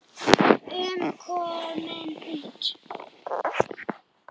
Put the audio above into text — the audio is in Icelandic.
um komin út.